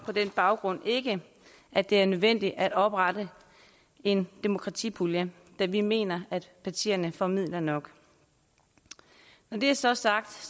på den baggrund ikke at det er nødvendigt at oprette en demokratipulje da vi mener at partierne får midler nok når det så er sagt